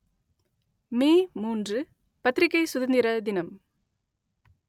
மே மூன்று பத்திரிக்கை சுதந்திர தினம்